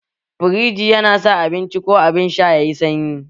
Firiji yana sa abinci ko abin sha sanyi